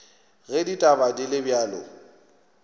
ge ditaba di le bjalo